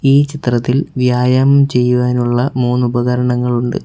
ഈ ചിത്രത്തിൽ വ്യായാമം ചെയ്യുവാനുള്ള മൂന്ന് ഉപകരണങ്ങളുണ്ട്.